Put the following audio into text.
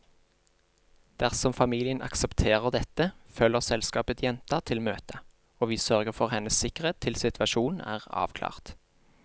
Dersom familien aksepterer dette, følger selskapet jenta til møtet, og vi sørger for hennes sikkerhet til situasjonen er avklart.